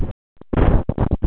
Næst hvítu að innan er æða.